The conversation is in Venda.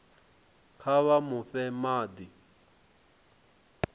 kha vha mu fhe madi